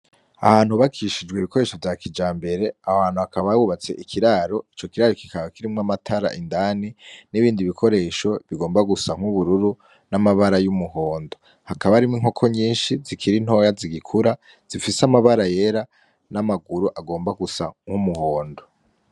Ahantu hubakishijwe ibikoresho vya kijambere, aho hantu hakaba hubatse ikiraro, ico kiraro kikaba kirimwo amatara indani; n'ibindi bikoresho bigomba gusa nk'ubururu; n'amabara y'umuhondo, hakaba harimwo inkoko nyinshi zikiri ntoya zigikura zifise amabara yera; n'amaguru agomba gusa nk'umuhondo.